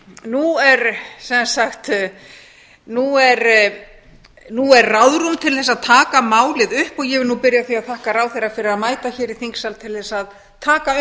nú er sem sagt ráðrúm til að taka málið upp og ég vil nú byrja á því að þakka ráðherra fyrir að mæta hér í þingsal til að taka